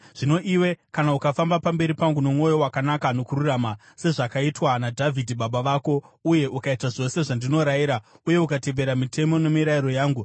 “Zvino iwe, kana ukafamba pamberi pangu nomwoyo wakanaka nokururama, sezvakaitwa naDhavhidhi baba vako, uye ukaita zvose zvandinorayira uye ukatevera mitemo nemirayiro yangu,